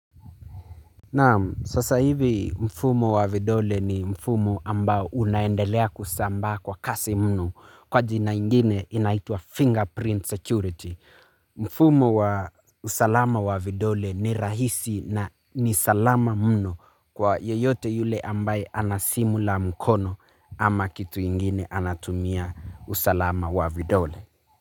Naam, sasa hivi mfumo wa vidole ni mfumo ambao unaendelea kusambaa kwa kasi mno. Kwa jina ingine inaitwa fingerprint security mfumo wa usalama wa vidole ni rahisi na ni salama mno kwa yeyote yule ambaye ana simu ya mkono ama kitu ingine anatumia usalama wa vidole.